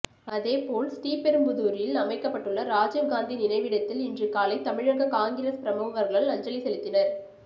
அதேபோல் ஸ்ரீபெரும்புதூரில் அமைக்கப்பட்டுள்ள ராஜீவ் காந்தி நினைவிடத்தில் இன்று காலை தமிழக காங்கிரஸ் பிரமுகர்கள் அஞ்சலி செலுத்தினர்